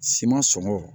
Siman sɔngɔ